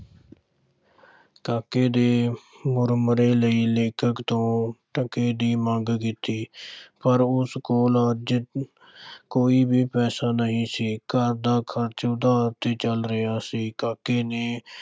ਕਾਕੇ ਨੇ ਮੁਰਮੁਰੇ ਲਈ ਲੇਖਕ ਤੋਂ ਟਕੇ ਦੀ ਮੰਗ ਕੀਤੀ ਪਰ ਉਸ ਕੋਲ ਅੱਜ ਕੋਈ ਵੀ ਪੈਸਾ ਨਹੀਂ ਸੀ, ਘਰ ਦਾ ਖ਼ਰਚ ਉਧਾਰ ਤੇ ਚੱਲ ਰਿਹਾ ਸੀ, ਕਾਕੇ ਨੇ